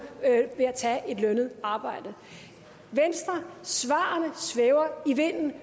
ved at tage et lønnet arbejde at svarene svæver i vinden